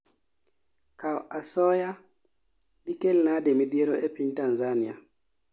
Kao asoya dikelnade midhiero epinTanzania?